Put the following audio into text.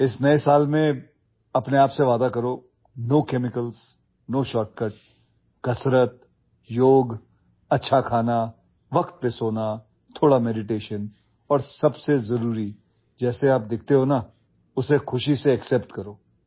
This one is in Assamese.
নতুন বছৰত নিজে প্ৰতিশ্ৰুতিবদ্ধ হওক কোনো ৰাসায়নিক পদাৰ্থ কোনো শ্বৰ্টকাট ব্যায়াম যোগাসন ভাল খাদ্য সঠিক টোপনি অলপ ধ্যান আৰু আটাইতকৈ ডাঙৰ কথাটো হল যি দেখিছে আনন্দৰে গ্ৰহণ কৰক